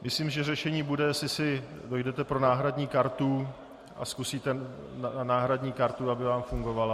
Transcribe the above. Myslím, že řešení bude, jestli si dojdete pro náhradní kartu a zkusíte náhradní kartu, aby vám fungovala.